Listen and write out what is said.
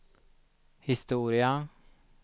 historia